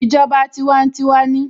Ìjọba tiwantiwa ni